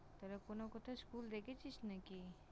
তাহলে কোনো কোথাও School দেখেছিস নাকি?